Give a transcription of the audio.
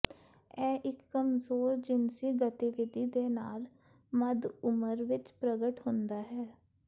ਇਹ ਇੱਕ ਕਮਜ਼ੋਰ ਜਿਨਸੀ ਗਤੀਵਿਧੀ ਦੇ ਨਾਲ ਮੱਧ ਉਮਰ ਵਿੱਚ ਪ੍ਰਗਟ ਹੁੰਦਾ ਹੈ